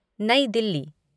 New Delhi